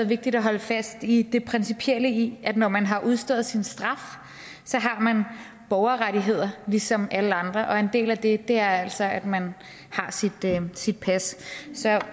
vigtigt at holde fast i det principielle i at når man har udstået sin straf har man borgerrettigheder ligesom alle andre og en del af det er altså at man har sit sit pas så